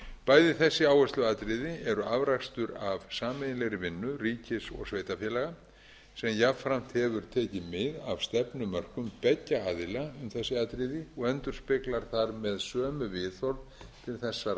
bæði þessi áhersluatriði eru afrakstur af sameiginlegri vinnu ríkis og sveitarfélaga sem jafnframt hefur tekið mið af stefnumörkun beggja aðila um þessi atriði og endurspeglar þar með sömu viðhorf til þessara